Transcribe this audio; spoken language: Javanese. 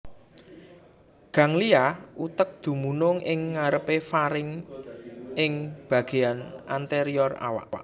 Ganglia utek dumunung ing ngarepé faring ing bagéyan anterior awak